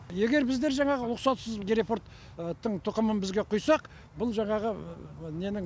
егер біздер жаңағы рұқсатсыз герефордтың тұқымын бізге құйсақ бұл жаңағы ненің